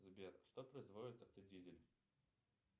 сбер что производит автодизель